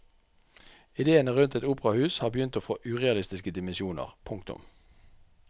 Idéene rundt et operahus har begynt å få urealistiske dimensjoner. punktum